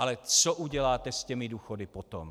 Ale co uděláte s těmi důchody potom?